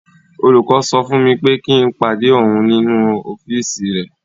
Olùkọ́ sọ fún mi pé kí n pàdé òun nínú ọ́fíìsì rẹ̀.